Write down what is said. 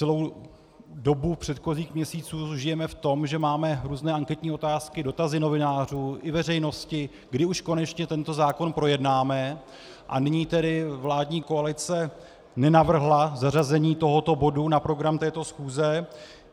Celou dobu předchozích měsíců žijeme v tom, že máme různé anketní otázky, dotazy novinářů i veřejnosti, kdy už konečně tento zákon projednáme, a nyní tedy vládní koalice nenavrhla zařazení tohoto bodu na program této schůze.